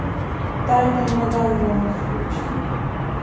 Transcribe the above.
тайны мадам вонг включи